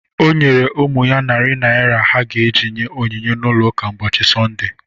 O nyere ụmụ ya narị naira ha ga-eji nye onyinye n'ụlọụka mbọsi Sọnde